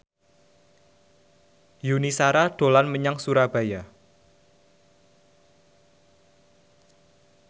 Yuni Shara dolan menyang Surabaya